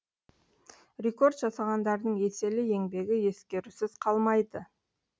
рекорд жасағандардың еселі еңбегі ескерусіз қалмайды